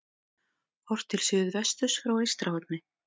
Horft til suðvesturs frá Eystrahorni.